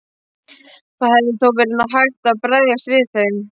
Það hefði þó verið hægt að bregðast við þeim.